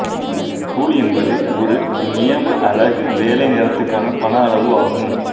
கூலி என்பது ஒரு நியம அலகு வேலை நேரத்துக்கான பண அளவு ஆகும்